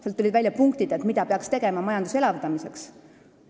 See rühm tõi välja punktid, mida peaks tegema majanduse elavdamiseks.